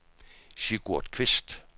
Sigurd Kvist